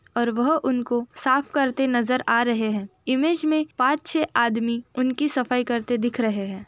और वह उनको साफ करते हुए नजर आ रहे है। ईमेज में पाँच छे आदमी उनकी सफाई करते दिख रहे हैं।